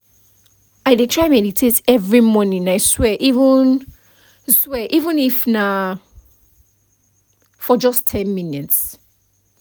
i dey try meditate every morning i swear even swear even if na for just ten minutes